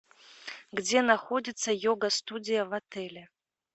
где находится йога студия в отеле